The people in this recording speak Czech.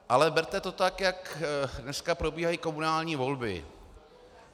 Ale berte to tak, jak dneska probíhají komunální volby.